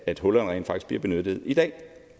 at hullerne rent faktisk bliver benyttet i dag